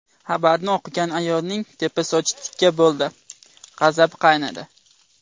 Xabarni o‘qigan ayolning tepa sochi tikka bo‘ldi, g‘azabi qaynadi.